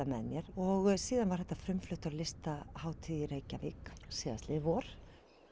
með mér og síðan var þetta frumflutt á Listahátíð í Reykjavík síðastliðið vor